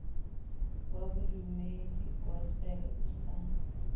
wa bodumedi gospel o sa